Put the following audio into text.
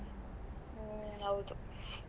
ಹ್ಮ್, ಹೌದು .